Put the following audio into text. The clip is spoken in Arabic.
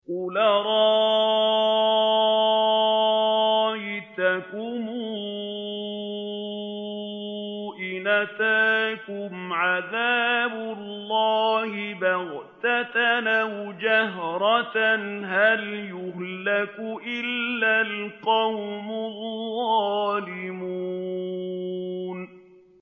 قُلْ أَرَأَيْتَكُمْ إِنْ أَتَاكُمْ عَذَابُ اللَّهِ بَغْتَةً أَوْ جَهْرَةً هَلْ يُهْلَكُ إِلَّا الْقَوْمُ الظَّالِمُونَ